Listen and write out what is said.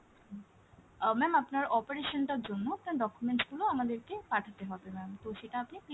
আহ ma'am আপনার operation টার জন্য আপনার documents গুলো আমাদেরকে পাঠাতে হবে ma'am তো সেটা আপনি